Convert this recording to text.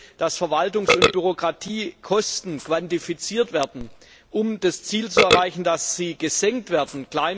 Wir wollen, dass Verwaltungs und Bürokratiekosten quantifiziert werden, um das Ziel zu erreichen, dass sie gesenkt werden.